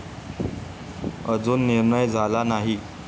अजुन निर्णय झाला नाही